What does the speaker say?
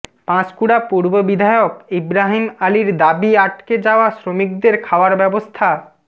পাঁশকুড়া পূর্ব বিধায়ক ইব্রাহিম আলির দাবি আটকে যাওয়া শ্রমিকদের খাওয়ার ব্যবস্থা